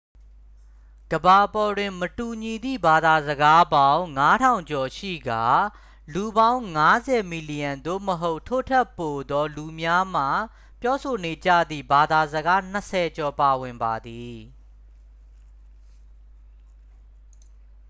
ကမ္ဘာပေါ်တွင် မတူညီသည့်ဘာသာစကားပေါင်း 5000 ကျော်ရှိကာ လူပေါင်း 50 မီလီယံ သို့မဟုတ် ထို့ထက်ပိုသော လူများမှပြောဆိုနေကြသည့် ဘာသာစကားနှစ်ဆယ်ကျော်ပါဝင်ပါသည်